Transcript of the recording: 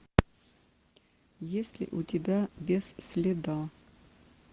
есть ли у тебя без следа